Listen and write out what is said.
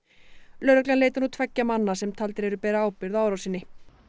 lögreglan leitar nú tveggja manna sem taldir eru bera ábyrgð á árásinni